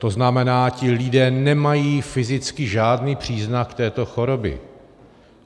To znamená, ti lidé nemají fyzicky žádný příznak této choroby.